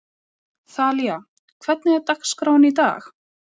Þalía, hvernig er dagskráin í dag?